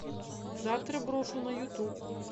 завтра брошу на ютуб